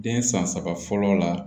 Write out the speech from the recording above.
Den san saba fɔlɔ la